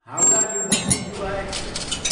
Howrah new Delhi Yuva express